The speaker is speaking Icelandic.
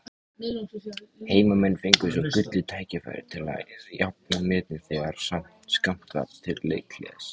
Heimamenn fengu svo gullið tækifæri til að jafna metin þegar skammt var til leikhlés.